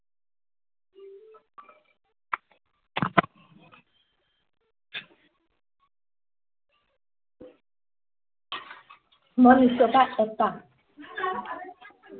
এটা